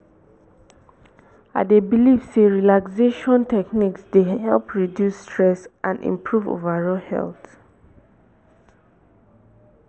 i dey believe say relaxation techniques dey help reduce stress and improve overall health.